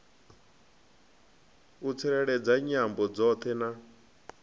u tsireledza nyambo dzoṱhe na